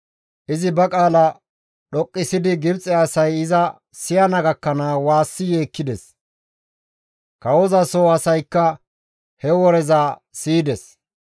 Izi ba qaala dhoqqisidi Gibxe asay iza siyana gakkanaas waassi yeekkides. Kawoza soo asaykka he woreza siyides.